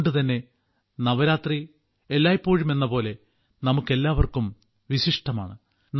അതുകൊണ്ടുതന്നെ നവരാത്രി എല്ലായ്പ്പോഴുമെന്ന പോലെ നമുക്കെല്ലാവർക്കും വിശിഷ്ടമാണ്